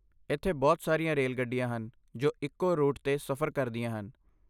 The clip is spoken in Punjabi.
ਇੱਥੇ ਬਹੁਤ ਸਾਰੀਆਂ ਰੇਲ ਗੱਡੀਆਂ ਹਨ ਜੋ ਇੱਕੋ ਰੂਟ 'ਤੇ ਸਫ਼ਰ ਕਰਦੀਆਂ ਹਨ।